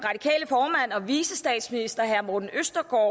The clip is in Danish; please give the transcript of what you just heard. her vicestatsminister herre morten østergaard